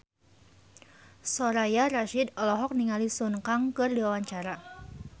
Soraya Rasyid olohok ningali Sun Kang keur diwawancara